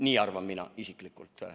Nii arvan mina isiklikult.